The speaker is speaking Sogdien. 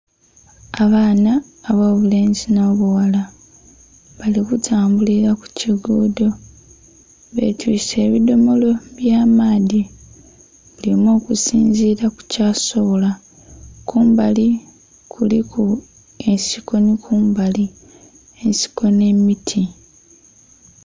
Abaana abobulenzi n'obughala bali kutambulira kukigudo betwise ebidhomolo eby'amaadhi. Buli omu okusinzira kukyasobola kumbali kuliku ensiko ni kumbali ensiko n'emiti.